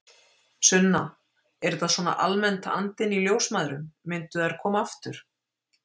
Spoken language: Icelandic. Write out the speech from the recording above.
Sunna: Er þetta svona almennt andinn í ljósmæðrum, myndu þær koma aftur?